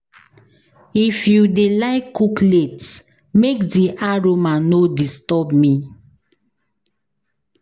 If you dey like cook late, make di aroma no disturb me.